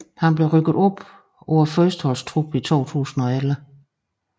Han blev rykket op på førsteholdstruppen i 2011